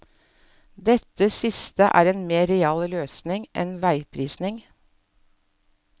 Dette siste er en mer real løsning enn veiprising.